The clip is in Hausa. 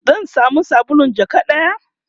zan samu sabulun jaka ɗaya?